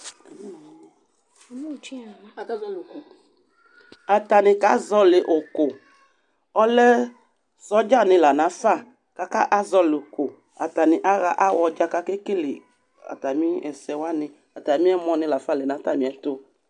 Akazɔlɩ ʋkʋ Atanɩ kazɔɣɔlɩ ʋkʋ Ɔlɛ sɔdzanɩ la nafa kʋ akazɔɣɔlɩ ʋkʋ Atanɩ aɣa aɣɔ dza kʋ akekele atamɩ ɛsɛ wanɩ Atamɩ ɛmɔnɩ la fa lɛ nʋ atamɩ ɛtʋ